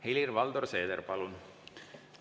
Helir-Valdor Seeder, palun!